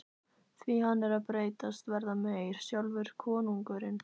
Því hann er að breytast, verða meyr, sjálfur konungurinn.